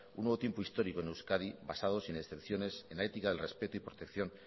un nuevo tiempo histórico en euskadi basado sin excepciones en la ética el respeto y protección